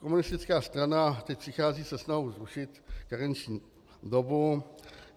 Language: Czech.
Komunistická strana teď přichází se snahou zrušit karenční dobu.